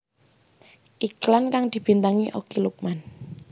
Iklan kang dibintangi Okky Lukman